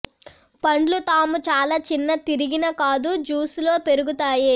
పండ్లు తాము చాలా చిన్న తిరిగిన కాదు జూసీ లో పెరుగుతాయి